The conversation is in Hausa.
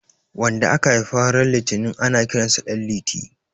wanda aka Haifa ran litinin ana Kiransa danliti